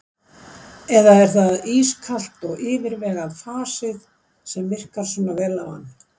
Eða er það ískalt og yfirvegað fasið sem virkar svona vel á hann?